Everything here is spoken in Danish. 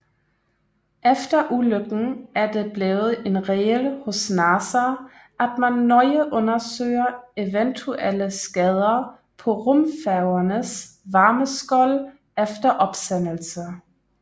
Efter ulykken er det blevet en regel hos NASA at man nøje undersøger eventuelle skader på rumfærgernes varmeskold efter opsendelse